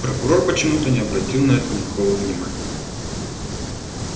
прокурор почему-то не обратил на это никакого внимания